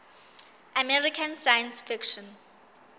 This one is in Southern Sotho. american science fiction